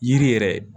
Yiri yɛrɛ